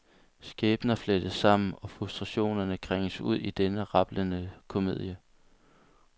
Skæbner flettes sammen og frustrationerne krænges ud i den rablende komedie.